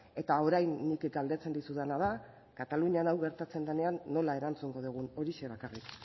eta orain nik galdetzen dizudana da katalunian hau gertatzen denean nola erantzungo dugun horixe bakarrik